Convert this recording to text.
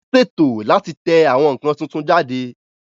Wón ṣètò láti tẹ àwọn nǹkan tuntun jáde